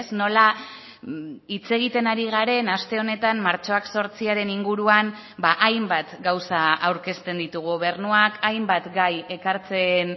nola hitz egiten ari garen aste honetan martxoak zortziaren inguruan hainbat gauza aurkezten ditu gobernuak hainbat gai ekartzen